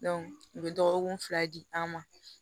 u bɛ dɔgɔkun fila di an ma